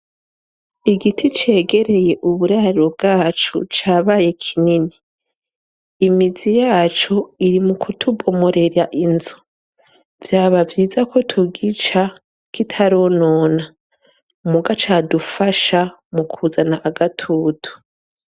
Igiti cegereye uburariro bwacu cabaye kinini imizi yacu iri mu kutubomorera inzu vyaba vyiza ko tugica kitaronona mu ga cadufasha mu kuzana agatutu.